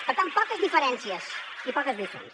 per tant poques diferències i poques lliçons